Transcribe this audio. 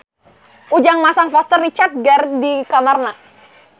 Ujang masang poster Richard Gere di kamarna